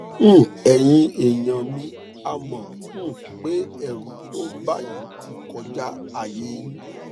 um ẹyin èèyàn mi a mọ um pé ẹrù tó ń bà yín ti kọjá àyè yín